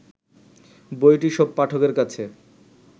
বইটি সব পাঠকের কাছে